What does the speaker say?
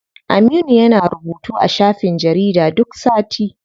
Aminu yana rubutu a shafin jarida duk sati.